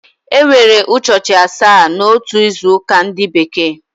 E nwere ụchọchi asaa n’otu izu ụka ndi bekee